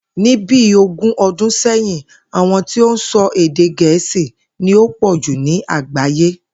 Ní bí ogún o̩dún sè̩yìn, àwo̩n tí ó ń so̩ èdè Gè̩é̩sì ni ó pò̩ jù ní àgbàyé